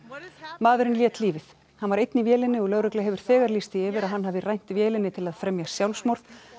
maðurinn lét lífið hann var einn í vélinni og lögregla hefur þegar lýst því yfir að hann hafi rænt vélinni til að fremja sjálfsmorð